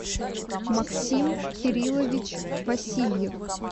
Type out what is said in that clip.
максим кириллович васильев